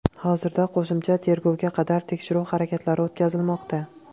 Hozirda qo‘shimcha tergovga qadar tekshiruv harakatlari o‘tkazilmoqda.